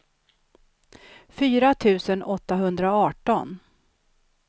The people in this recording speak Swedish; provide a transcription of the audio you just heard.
fyra tusen åttahundraarton